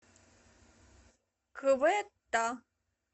кветта